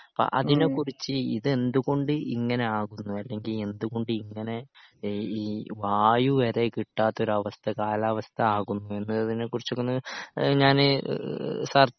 അപ്പോ അതിനെക്കുറിച്ച് ഇതെന്തുകൊണ്ട് ഇങ്ങനെ ആകുന്നു അല്ലെങ്കിൽ എന്തുകൊണ്ട് ഇങ്ങനെ ഏഹ് ഈ വായു വരെ കിട്ടാത്ത ഒരവസ്ഥ കാലാവസ്ഥ ആകുന്നു എന്നതിനെക്കുറിച്ചൊക്കെ ഒന്ന് ഏഹ് ഞാന് ഏഹ് സർ